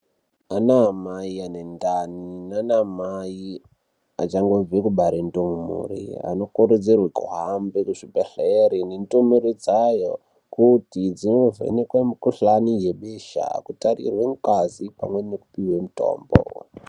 Anaamai anendani nanaamai achangobve kubare ndumure anokurudzirwe kuhambe kuzvibhedhlera nendumure dzayo kuti dzivhenekwe mukuhlani yebesha, kutarirwe mungazi pamwe nekupiwe mitombo.